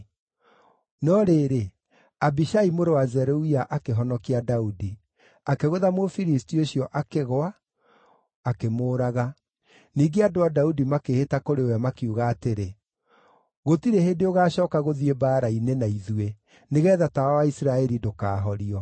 No rĩrĩ, Abishai mũrũ wa Zeruia akĩhonokia Daudi; akĩgũtha Mũfilisti ũcio akĩgũa, akĩmũũraga. Ningĩ andũ a Daudi makĩĩhĩta kũrĩ we makiuga atĩrĩ, “Gũtirĩ hĩndĩ ũgacooka gũthiĩ mbaara-inĩ na ithuĩ, nĩgeetha tawa wa Isiraeli ndũkahorio.”